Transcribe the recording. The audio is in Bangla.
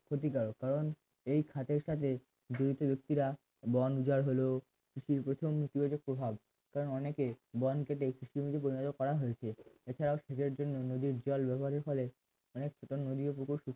ক্ষতিকারক কারণ এই খাতের কাজে দুইটি ব্যক্তিরা বন উজাড় হলেও কৃষির উপশম নীতিবাচক প্রভাব কারণ অনেকেই বন কেটে কৃষি জমিতে পরিণত করা হয়েছে এছাড়াও সেচের জন্য নদীর জল ব্যবহারের ফলে অনেক নদী ও পুকুর